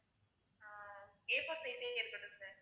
ஆஹ் A4 size ஏ இருக்கட்டும் sir